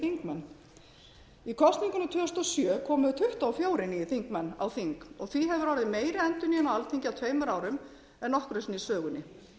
kosningunum tvö þúsund og sjö komu tuttugu og fjórir nýir þingmenn á þing og því hefur orðið meiri endurnýjun á alþingi á tveimur árum en nokkru sinni í sögunni